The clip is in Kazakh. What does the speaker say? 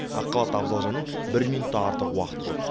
ақ халатты абзал жанның бір минут та артық уақыты жоқ